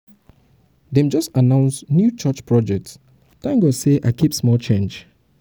dem just announce new church project thank god sey i keep small change.